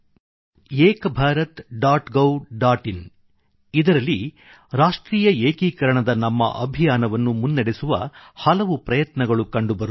in Ek Bharat dot gov dot in ಇದರಲ್ಲಿ ರಾಷ್ಟ್ರೀಯ ಏಕೀಕರಣದ ನ್ಯಾಷನಲ್ ಇಂಟಿಗ್ರೇಷನ್ ನಮ್ಮ ಅಭಿಯಾನವನ್ನು ಮುನ್ನಡೆಸುವ ಹಲವು ಪ್ರಯತ್ನಗಳು ಕಂಡುಬರುತ್ತವೆ